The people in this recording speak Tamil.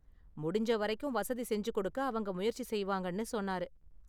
முடிஞ்ச வரைக்கும் வசதி செஞ்சு கொடுக்க அவங்க முயற்சி செய்வாங்கன்னு சொன்னாரு.